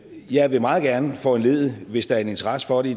jeg meget gerne vil foranledige hvis der er en interesse for det